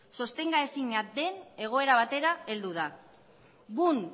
sostenga ezinak den egoera batera heldu da boom